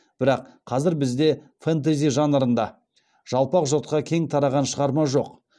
бірақ қазір бізде фэнтези жанрында жалпақ жұртқа кең тараған шығарма жоқ